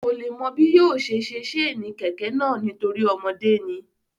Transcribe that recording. Kò le mọ bí yóò ṣe ṣe sénì kẹ̀kẹ́ náà nítorí ọmọdé ni